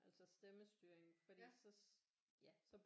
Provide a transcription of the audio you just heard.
Altså stemmestyring fordi så ja så